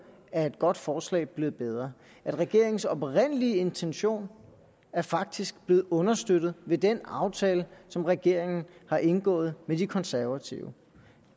er et godt forslag blevet bedre regeringens oprindelige intention er faktisk blevet understøttet af den aftale som regeringen har indgået med de konservative